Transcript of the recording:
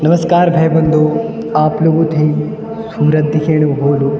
नमसकार भै बंधु आप लोगुं थै सूरज दिखेणु होलूं।